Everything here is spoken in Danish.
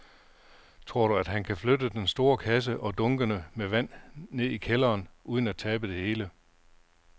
Tror du, at han kan flytte den store kasse og dunkene med vand ned i kælderen uden at tabe det hele?